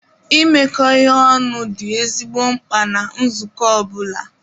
Imekọ ihe ọnụ dị ezigbo mkpa na nzukọ ọ bụla.